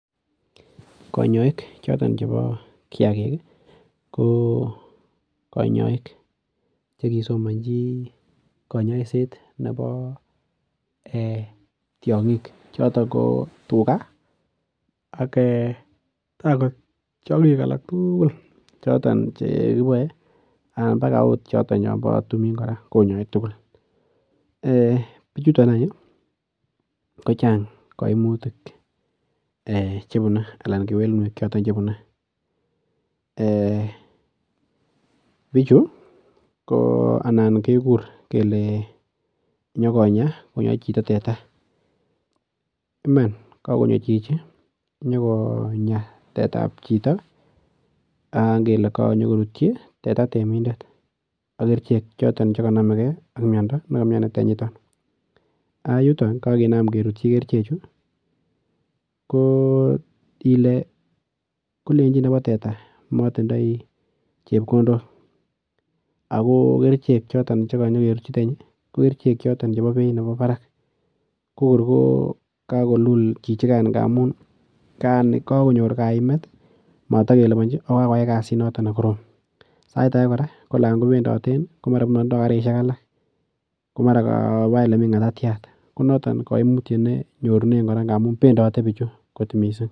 Kanyoik chon chebo kiyakik ko kanyoik chekisomonji kanyaiset nebo tiong'ik choto ko tuga ak okot tiong'ik alak tugul choton chekiboei anan mpaka akot choton chobo timing kora konyoei bichuton anyun kochang' kaimutik chebunei anan kewelutik chebunei bichu ko anan kekur kele nyokonya konyoei chito tete Iman kakonyor chichi nyokonya tetaab chito anan kele kanyikorutyi teta temidet ak kerichek choto chekanomegei ak miyondo nekaimyoni tanyita yuton kakinaan kerutchi kerichechu kolenjin nebo teta matindoi chepkondok ako kerichek choton chekanyikorutyi tenyi ko kerichek choton chebo beit nebo barak kokur ko kakolul chichigen nga amun kakonyor kaimet matikelibanji ako kakoyai kasit noto nekorom sait age ko namko bendoten komatinde karishek alak ko [cs,]mara kaba ole mi ng'atatyat ko noton kaimutyet nenyorunen kora nga amun bendoten bichu mising'